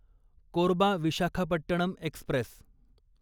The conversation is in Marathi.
कोरबा विशाखापट्टणम एक्स्प्रेस